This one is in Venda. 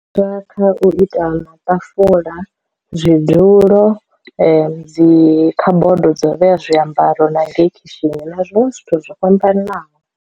Zwa kha u ita ma ṱafula, zwidulo, dzi kha bodo dzo vhea zwiambaro na ngei khishini na zwiṅwe zwithu zwo fhambananaho.